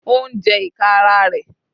Ó ń jẹ ìka ara rẹ̀.